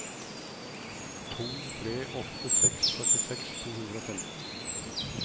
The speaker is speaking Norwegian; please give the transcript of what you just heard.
to tre åtte seks førtiseks to hundre og femten